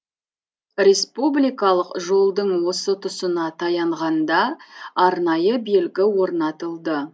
республикалық жолдың осы тұсына таянғанда арнайы белгі орнатылды